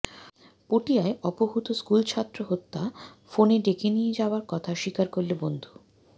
পটিয়ায় অপহূত স্কুলছাত্র হত্যা ফোনে ডেকে নিয়ে যাওয়ার কথা স্বীকার করল বন্ধু